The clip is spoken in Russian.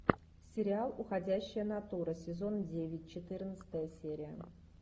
сериал уходящая натура сезон девять четырнадцатая серия